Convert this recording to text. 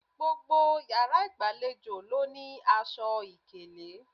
Gbogbo yàrá ìgbàlejò ló ní aṣọ ìkélé